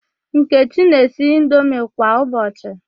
Nkechi na-esi indomi kwa ụbọchị.